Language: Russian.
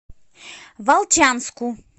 волчанску